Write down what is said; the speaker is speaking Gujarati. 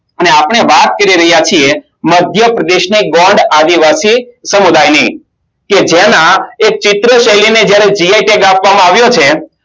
ને આપણે વાત કરી રહ્યા છે મધ્યપ્રદેશને ગોંડ આદિવાસી સમુદાયની કે જેના એક ચિત્રો શૈલી ને jio tag આપવામાં આવ્યો છે